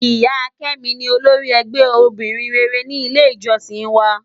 Iya Kemi ni ólórì ègbè óbìrín réré ni ilé ijòsín wá